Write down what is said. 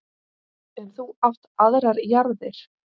En þú átt aðrar jarðir.